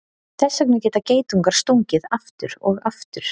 Þess vegna geta geitungar stungið aftur og aftur.